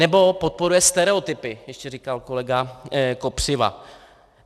Nebo podporuje stereotypy, ještě říkal kolega Kopřiva.